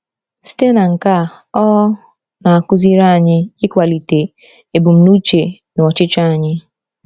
Site na nke a, ọ na-akụziri anyị ịkwalite ebumnuche na ọchịchọ anyị.